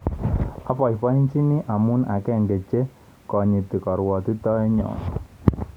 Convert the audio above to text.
Aboibochini mising amu a akenge che konyiti koruotitoetnnyo".